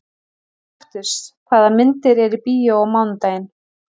Kaktus, hvaða myndir eru í bíó á mánudaginn?